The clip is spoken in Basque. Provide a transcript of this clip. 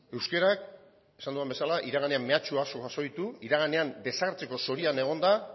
euskarak esan duen bezala iraganean mehatxu asko jaso ditu iraganean desagertzeko zorian egon da